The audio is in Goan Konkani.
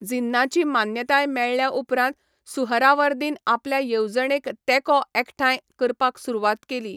जिन्नाची मान्यताय मेळ्ळ्या उपरांत सुहरावर्दीन आपल्या येवजणेक तेंको एकठांय करपाक सुरवात केली.